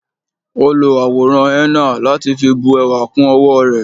O lọ àwòrán henna láti fi bu ẹwà kún owó rẹ